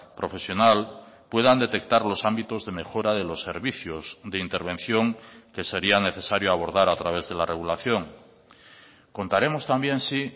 profesional puedan detectar los ámbitos de mejora de los servicios de intervención que sería necesario abordar a través de la regulación contaremos también sí